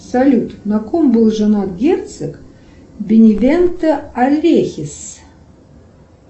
салют на ком был женат герцог бенебента алехис